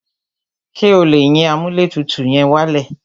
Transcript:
Ṣé o lè yín amúlẹ̀tutù yẹn wálẹ̀?